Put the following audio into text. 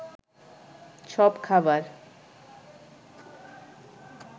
সব খাবার